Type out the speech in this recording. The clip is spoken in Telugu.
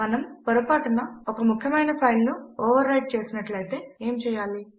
మనము పొరపాటున ఒక ముఖ్యమైన ఫైల్ ను ఓవర్ రైట్ చేసినట్లు అయితే ఏమి చేయాలి